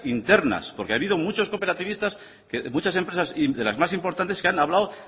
internas porque ha habido muchos cooperativistas que muchas empresas de las más importantes que han hablado